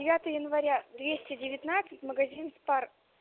девятое января двести девятнадцать магазин спар